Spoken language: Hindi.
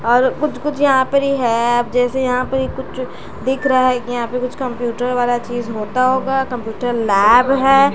और कुछ-कुछ यहां पर ही है जैसे यहां पर कुछ दिख रहा है कि यहां पे कुछ कंप्यूटर वाला चीज होता होगा कंप्यूटर लैब है।